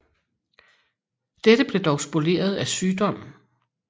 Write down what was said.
Dette blev dog spoleret af sygdom